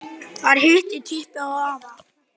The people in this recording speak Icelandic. Þar hitti ég hann árið